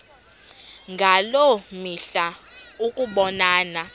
ngaloo mihla ukubonana